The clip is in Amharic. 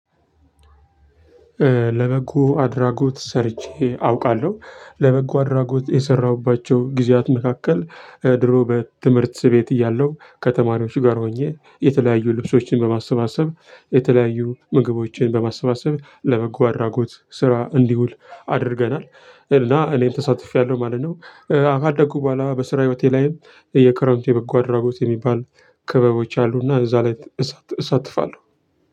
ለበጎ አድራጎት ሰርቼ አውቃለሁ ለበጎ አድራጎት የሰራሁባቸው ጊዜያት መካከል ድሮ በትምህርት ቤት እያለሁ ከተማሪዎች ጋር ሆኜ የተለያዩ ልብሶችን በማሰባሰብ የተለያዩ ምግቦችን በማሰባሰብ ለበጎ አድራጎት ስራ እንዲውል አድርገናል እና እኔም ተሳትፌያለሁ ማለት ነው። ከአደጉ በኋላ በስራ ህይወቴ ላይም በየ ክረምቱ የበጎ አድራጎት የሚባል ክበቦች አሉና እዛ ላይ እሳተፋለሁ።